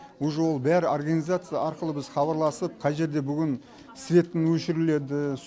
уже ол бәрі организация арқылы біз хабарласып қай жерде бүгін светін өшіріледі